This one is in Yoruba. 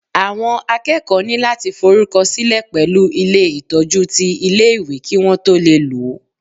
Àwọn akẹ́kọ̀ọ́ ní láti f'orúkọ sílẹ̀ pẹ̀lú ilé Ìtọ́jú ti ilé ìwé Kí wón tó lè lòó.